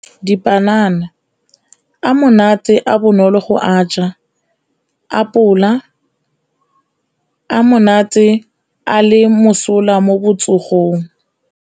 Dipanana, a monate a bonolo go a ja. Apole, a monate a le mosola mo botsogong.